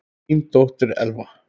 Þín dóttir, Elfa.